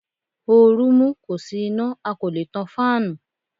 Ooru mú, kò sí iná a kò lè tan fáànù.